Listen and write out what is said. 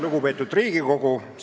Lugupeetud Riigikogu!